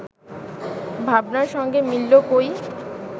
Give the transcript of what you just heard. ভাবনার সঙ্গে মিলল কই